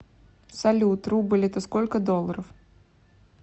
салют рубль это сколько долларов